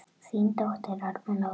Þín dóttir, Alma Lára.